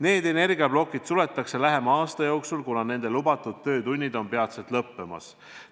Need energiaplokid suletakse lähima aasta jooksul, kuna nende lubatud töötunnid on peatselt lõppemas.